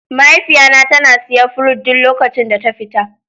Mahaifiya na ta na siya fruit duk lokacin da ta fita.